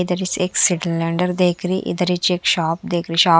इधर से एक सिलेंडर देख रही इधर से एक शॉप देख रही है शॉप --